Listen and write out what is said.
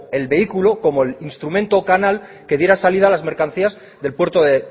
el vehículo como el instrumento o canal que diera salida a las mercancías del puerto de